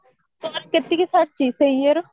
ତୋର କେଟିକି ସରିଚି ସେଇ ଇଏର